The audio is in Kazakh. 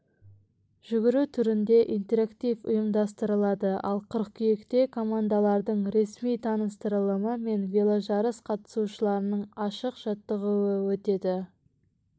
жүгіру түрінде интерактив ұйымдастырылады ал қыркүйекте командалардың ресми таныстырылымы мен веложарыс қатысушыларының ашық жаттығуы өтеді